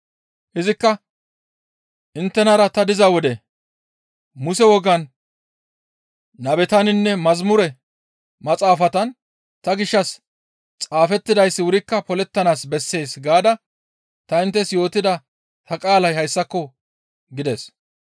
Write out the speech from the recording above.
Izikka, «Inttenara ta diza wode, ‹Muse wogan nabetaninne yeththa Maxaafatan ta gishshas xaafettidayssi wurikka polettanaas bessees› gaada ta inttes yootida ta qaalay hayssako» gides.